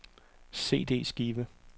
CD-skive